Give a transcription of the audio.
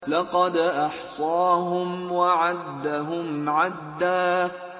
لَّقَدْ أَحْصَاهُمْ وَعَدَّهُمْ عَدًّا